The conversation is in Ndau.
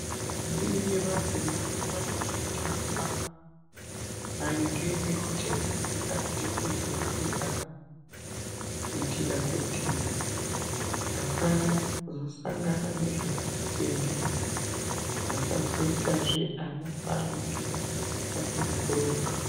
Ndombi nemadzimai vandofundiswa maringe ngekuchengetedza nhengo dzemwiri dzavo kuitira kuti vasazosangana nezvakati tende vasazoitazve ana aanenge vasina kuronga.